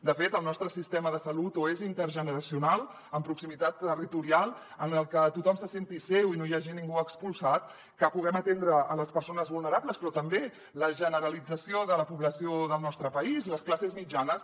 de fet el nostre sistema de salut o és intergeneracional amb proximitat territorial que tothom se’l senti seu i no hi hagi ningú expulsat que puguem atendre les persones vulnerables però també la generalització de la població del nostre país les classes mitjanes